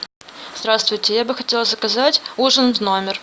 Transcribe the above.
здравствуйте я бы хотела заказать ужин в номер